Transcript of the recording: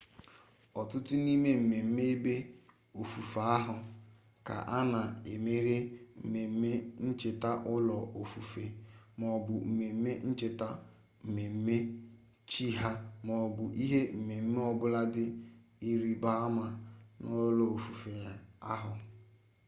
ọtụtụ n'ime mmemme ebe ofufe ahụ ka a na-emenyere mmemme ncheta ụlọ ofufe maọbụ mmemme ncheta ọmụmụ chi ha maọbụ ihe omume ọbụla dị ịrịba ama n'ụlọ ofufe ahụ